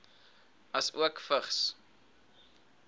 asook vigs